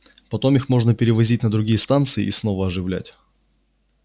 потом их можно перевозить на другие станции и снова оживлять